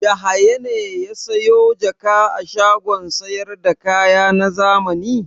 Yahaya ne ya sayo jaka a shagon sayar da kaya na zamani?